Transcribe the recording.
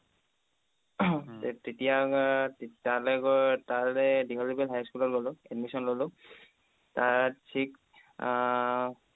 তেতিয়া তালে গৈ তালে high school লে গ'লো admission ল'লো তাত থিক আহ